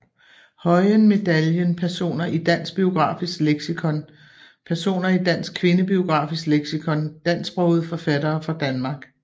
Høyen Medaljen Personer i Dansk Biografisk Leksikon Personer i Dansk Kvindebiografisk Leksikon Dansksprogede forfattere fra Danmark